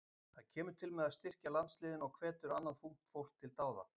Það kemur til með að styrkja landsliðin og hvetur annað ungt fólk til dáða.